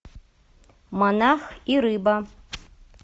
монах и рыба